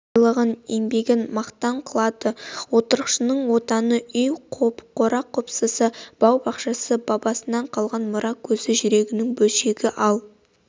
байлығын еңбегін мақтан қылады отырықшының отаны үй қора-қопсысы бау-бақшасы бабасынан қалған мұра көзі жүрегінің бөлшегі ал